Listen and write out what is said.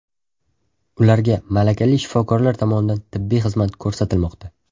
Ularga malakali shifokorlar tomonidan tibbiy xizmat ko‘rsatilmoqda.